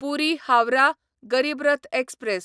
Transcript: पुरी Howrah Garib Rath express